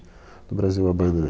No Brasil, a banda.